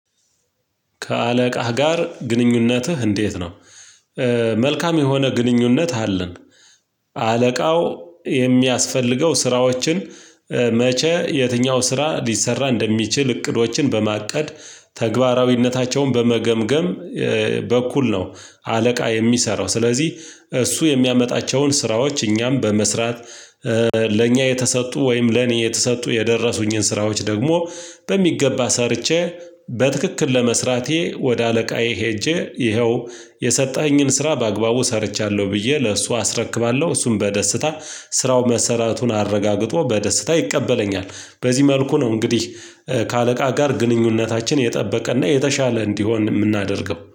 ከአለቃህ ጋር ግንኙነትህ እንዴት ነው? መልካም የሆነ ግንኙነት አለን። አለቃው የሚያስፈልገው ስራዎችን መቼ የትኛው ስራ ሊሰራ እንደሚችል እቅዶችን በማቀድ ተግባራዊነታቸውን በመገምገም በኩል ነው። አለቃ የሚሰራው ስለዚህ እሱ የሚያመጣቸውን ስራዎች እኛም በመስራት። ለእኛ የተሰጡ ወይም ለኔ የተሰጡ የደረሱኝን ስራዎች ደግሞ በሚገባ ሰርቼ በትክክል ለመስራቴ ወደ አለቃዬ ሄጄ ይኸው የሰጠኸኝን ስራ በአግባቡ ሰርቻለሁ ብዬ ለእሱ አስረክባለሁ። እሱን በደስታ ስራው መሰራቱን አረጋግጦ በደስታ ይቀበለኛል። በዚህ መልኩ ነው እንግዲህ ከአለቃ ጋር ግንኙነታችን የጠበቀና የተሻለ እንዲሆን የምናደርገው